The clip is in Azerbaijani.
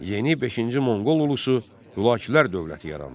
Yeni beşinci monqol ulusu Hülakülər dövləti yarandı.